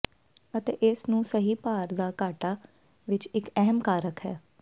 ਅਤੇ ਇਸ ਨੂੰ ਸਹੀ ਭਾਰ ਦਾ ਘਾਟਾ ਵਿੱਚ ਇੱਕ ਅਹਿਮ ਕਾਰਕ ਹੈ